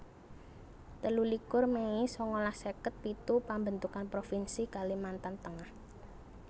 telulikur mei sangalas seket pitu Pambentukan provinsi Kalimantan Tengah